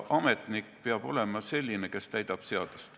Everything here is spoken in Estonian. Ametnik peab olema selline, kes täidab seadust.